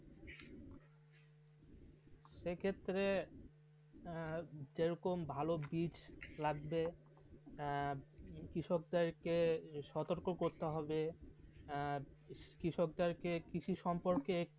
সেই ক্ষেত্রে যেরকম ভালো বীজ লাগবে কৃষকদের কে সতর্ক করতে হবে আর কৃষকদেরকে কৃষি সম্পর্কে